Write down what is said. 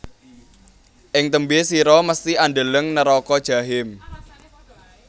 Ing tembe sira mesthi andeleng neraka jahim